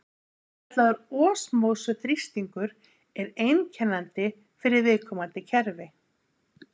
Svokallaður osmósu-þrýstingur er einkennandi fyrir viðkomandi kerfi.